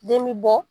Den bi bɔ